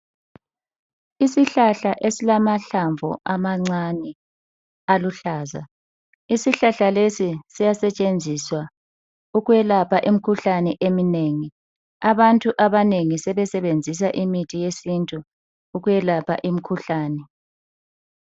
Isihlahla esilamahlamvu amancane aluhlaza, isihlahla lesi siyasetshenziswa ukwelapha imikhuhlane eminengi, abantu abanengi sebesenzisa imithi yesintu ukwelapha imikhuhlane.